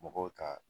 Mɔgɔw ka